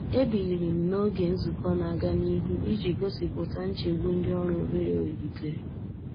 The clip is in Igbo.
E biliri m n'oge nzukọ n'aga nihu iji gosipụta nchegbu ndị ọrụ obere welitere.